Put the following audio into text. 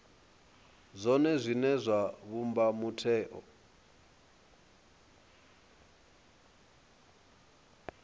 zwone zwine zwa vhumba mutheo